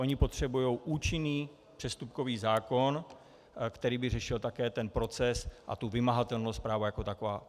Oni potřebují účinný přestupkový zákon, který by řešil také ten proces a tu vymahatelnost práva jako takového.